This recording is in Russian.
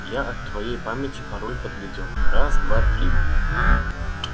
я от твоей памяти пароль подглядел раз-два-три